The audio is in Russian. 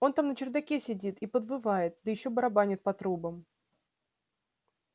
он там на чердаке сидит и подвывает да ещё барабанит по трубам